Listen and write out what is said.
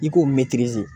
I k'o